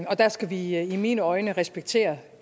og der skal vi i i mine øjne respektere